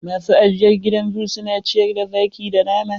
Masu ajiyr gidan zoo su na ciyar da zaki da nama.